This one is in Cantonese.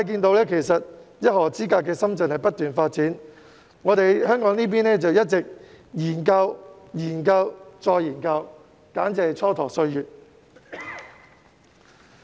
當一河之隔的深圳不斷發展，香港這邊卻一直在研究、研究及再研究，簡直是蹉跎歲月。